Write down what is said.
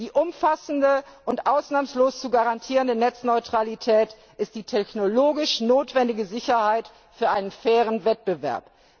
Die umfassende und ausnahmslos zu garantierende Netzneutralität ist die technologisch notwendige Sicherheit für einen fairen Wettbewerb.